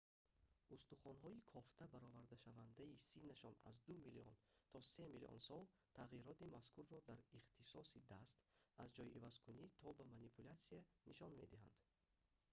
устухонҳои кофта баровардашавандаи синнашон аз ду миллион то се миллион сол тағйироти мазкурро дар ихтисоси даст аз ҷойивазкунӣ то ба манипулясия нишон медиҳанд